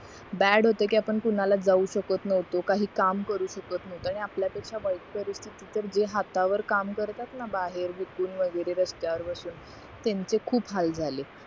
bad होत कि आपण कोणाला जाऊ शकत नव्हतो काही काम करू शकत नव्हतो आणि आपल्या पेक्ष्या वयस्कर होते जे हात वर काम करतातना बाहेर विकून वगैरे रस्त्यावर बसून त्यांचे खूप हाल झाले